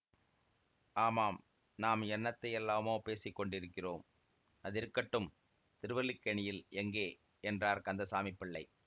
ஆமாம் நாம் என்னத்தையெல்லாமோ பேசிக்கொண்டிருக்கிறோம் அதிருக்கட்டும் திருவல்லிக்கேணியில் எங்கே என்றார் கந்தசாமி பிள்ளை